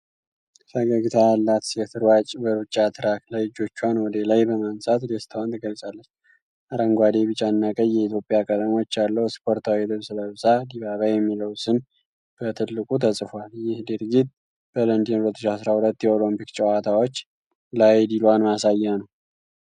ፈገግታ ያላት ሴት ሯጭ በሩጫ ትራክ ላይ እጆቿን ወደ ላይ በማንሳት ደስታዋን ትገልጻለች። አረንጓዴ፣ ቢጫና ቀይ የኢትዮጵያ ቀለሞች ያለው ስፖርታዊ ልብስ ለብሳ፣"DIBABA"የሚለው ስም በትልቁ ተጽፏል። ይህ ድርጊት በለንደን 2012 የኦሎምፒክ ጨዋታዎች ላይ ድሏን ማሳያ ነው።